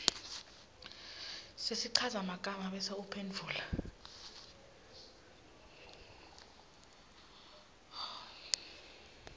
sesichazamagama bese uphendvula